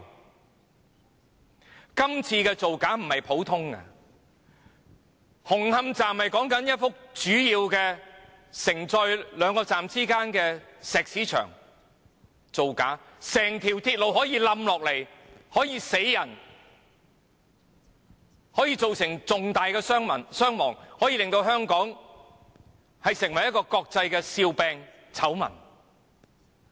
這次並非普通的造假，因為牽涉的是紅磡站內一幅主要承載兩個站之間的石屎牆，有可能導致整條鐵路崩塌，造成嚴重人命傷亡，並令香港成為國際笑柄和醜聞。